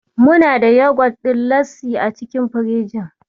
Muna da yagwat ɗin Lassi a cikin firinji.